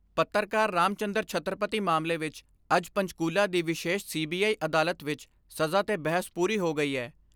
ਪੱਤਰਕਾਰ ਰਾਮਚੰਦਰ ਛੱਤਰਪਤੀ ਮਾਮਲੇ ਵਿਚ ਅੱਜ ਪੰਚਕੂਲਾ ਦੀ ਵਿਸ਼ੇਸ਼ ਸੀ ਬੀ ਅਈ ਅਦਾਲਤ ਵਿਚ ਸਜ਼ਾ 'ਤੇ ਬਹਿਸ ਪੂਰੀ ਹੋ ਗਈ ਏ।